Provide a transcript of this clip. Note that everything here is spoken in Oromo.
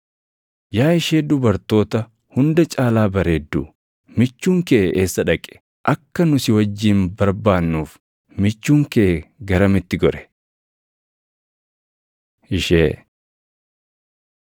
Yaa ishee dubartoota hunda caalaa bareeddu, michuun kee eessa dhaqe? Akka nu si wajjin barbaannuuf michuun kee garamitti gore? Ishee